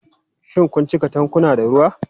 Shin kun cika tankuna da ruwa?